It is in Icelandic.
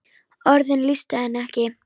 Orðin lýstu henni ekki.